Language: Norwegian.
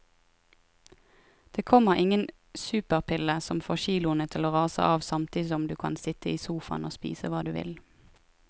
Det kommer ingen superpille som får kiloene til å rase av samtidig som du kan sitte i sofaen og spise hva du vil.